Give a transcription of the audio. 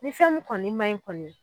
Ni fɛn mun kɔni ma ɲi kɔni